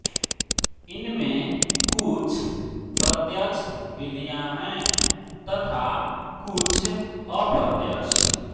इनमें कुछ प्रत्यक्ष विधियाँ हैं तथा कुछ अप्रत्यक्ष